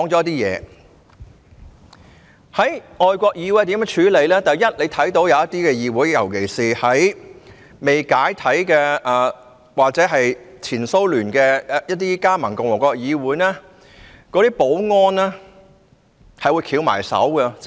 大家可以見到，有一些議會，尤其是在前蘇聯未解體前一些加盟共和國的議會，其保安人員只會袖手旁觀。